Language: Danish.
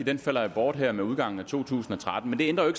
den falder bort her med udgangen af to tusind og tretten det ændrer jo